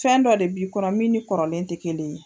Fɛn dɔ de bi'i kɔnɔ min ni kɔrɔlen tɛ kelen ye.